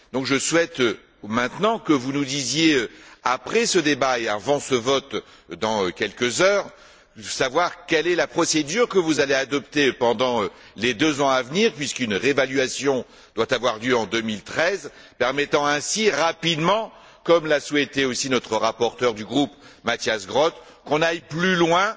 Donc, je souhaite maintenant que vous nous disiez, après ce débat et avant ce vote dans quelques heures, quelle est la procédure que vous allez adopter pendant les deux ans à venir puisqu'une réévaluation doit avoir lieu en 2013 qui permettra ainsi, rapidement, comme l'a souhaité aussi notre rapporteur du groupe, Matthias Groote, d'aller plus loin